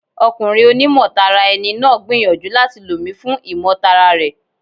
Ọkùnrin oní mọ̀ tara ẹni náà gbìyànjú láti lò mi fún ìmọ̀ tara rẹ̀.